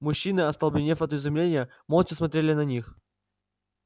мужчины остолбенев от изумления молча смотрели на них